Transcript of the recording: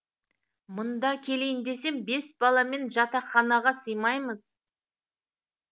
мында келейін десем бес баламен жатақханаға сыймаймыз